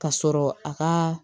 Ka sɔrɔ a ka